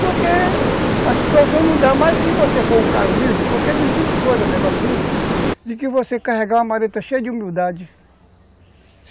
Porque a situação não dá mais se você for um cara humilde, porque não existe coisa melhor no mundo de que você carregar uma maleta cheia de humildade.